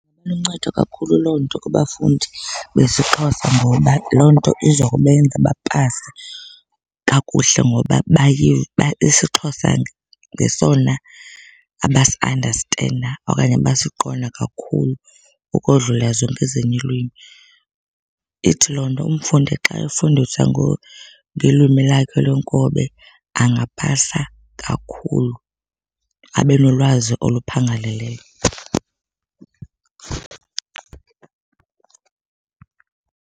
Iluncedo kakhulu loo nto kubafundi besiXhosa ngoba loo nto iza kubenza bapase kakuhle ngoba isiXhosa ngesona abasiandastenda okanye abasiqonda kakhulu ukodlula zonke ezinye iilwimi. Ithi loo nto umfundi xa efundiswa ngelwimi lakhe lwenkobe angapasa kakhulu abe nolwazi oluphangaleleyo.